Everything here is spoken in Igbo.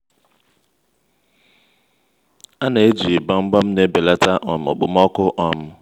a na-eji gbamgbam na-ebelata um okpomọkụ. um